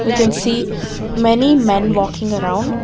We can see many men walking around.